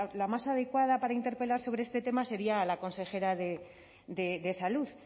la más adecuada para interpelar sobre este tema sería a la consejera de salud